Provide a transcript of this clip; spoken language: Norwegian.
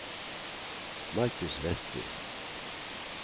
Markus Westby